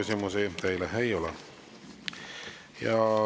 Rohkem küsimusi teile ei ole.